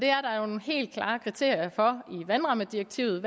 er nogle helt klare kriterier i vandrammedirektivet